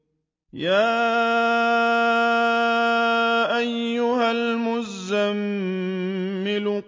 يَا أَيُّهَا الْمُزَّمِّلُ